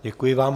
Děkuji vám.